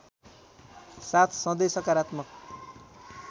साथ सधै सकारात्मक